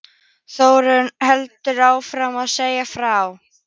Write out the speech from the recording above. Þórunn heldur áfram að segja frá